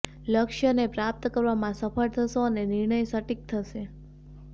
લક્ષ્યને પ્રાપ્ત કરવામાં સફળ થશો અને નિર્ણય સટીક થશે